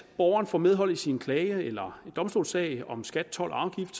borgeren får medhold i sin klage eller domstolssag om skat told og afgift